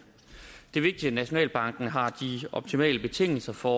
det er vigtigt at nationalbanken har optimale betingelser for